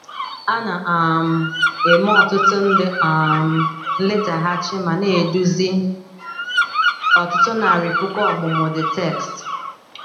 A na um - eme ọtụtụ nde um nletaghachi ma na - eduzi ọtụtụ narị puku ọmụmụ the text.